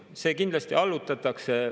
See kindlasti allutatakse.